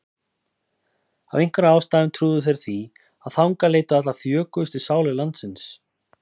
Af einhverjum ástæðum trúðu þeir því að þangað leituðu allar þjökuðustu sálir landsins.